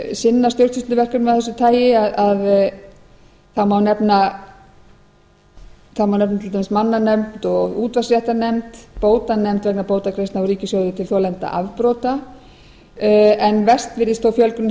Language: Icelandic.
sinna stjórnsýsluverkefnum af þessu tagi ár efna til dæmis mannanefnd útvarpsréttarnefnd bótanefnd vegna bótagreiðslna úr ríkissjóði til þolenda afbrota en mest virðist þó fjölgunin hafa